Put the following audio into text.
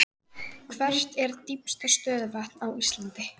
Á eftir þeim koma Kanada og Kína en minnst er framleiðslan í Evrópu.